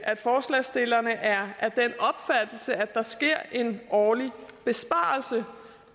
at forslagsstillerne er af at der sker en årlig besparelse